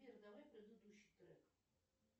сбер давай предыдущий трек